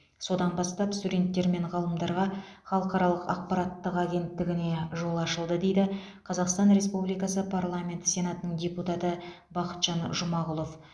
содан бастап студенттер мен ғалымдарға халықаралық ақпараттық агенттігіне жол ашылды дейді қазақстан республикасы парламент сенатының депутаты бақытжан жұмағұлов